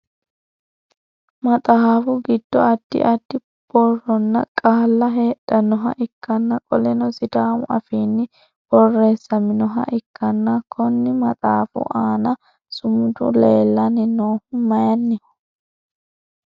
Maxaafu gido addi addi borronna qaalla hedhanoha ikanna qoleno sidaamu afiinni boreessaminoha ikkanna konni maxaafu aanna sumudu leelanni noohu mayinniho?